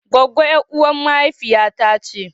Gwagggo yaruwan mahaifiya ta ce.